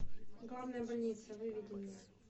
главная больница выведи мне